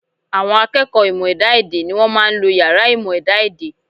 À̀wọn akẹ́kọ̀ọ́ ìmọ̀ ẹ̀dá-èdè ni wọ́n máa ń lo yàrá ìmọ̀ ẹ̀dá-èdè